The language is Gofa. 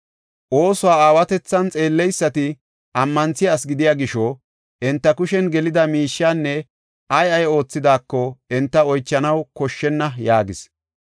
Oosuwa aawatethan xeelleysati ammanthiya asi gidiya gisho, enta kushen gelida miishiyan ay ay oothidaako, enta oychanaw koshshenna” yaagis.